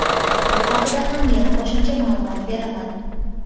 Bu haqida ham yana qo‘shimcha ma’lumot beraman.